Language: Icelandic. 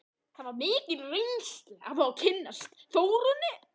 Það var mikil reynsla að fá að kynnast Þórunni.